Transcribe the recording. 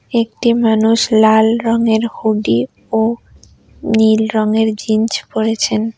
একটি মানুষ লাল রঙের হুডি ও নীল রঙের জিন্চ পড়েছেন।